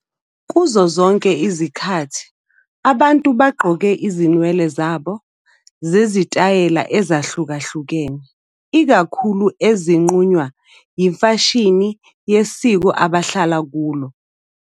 Kuzo zonke izikhathi, abantu bagqoke izinwele zabo ngezitayela ezahlukahlukene, ikakhulu ezinqunywa yimfashini yesiko abahlala kulo.